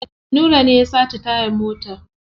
Nura ne ya sace tayar motar.